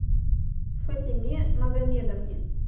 фатиме магомедовне